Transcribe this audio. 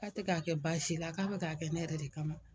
K'a tɛ k'a kɛ baasi la k'a bɛ k'a kɛ ne yɛrɛ de kama.